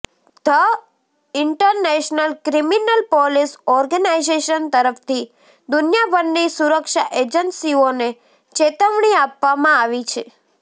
the international criminal police organisation તરફથી દુનિયાભરની સુરક્ષા એજન્સીઓને ચેતવણી આપવામાં આવી છે